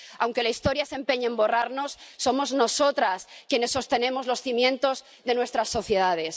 Aunque la historia se empeñe en borrarnos, somos nosotras quienes sostenemos los cimientos de nuestras sociedades.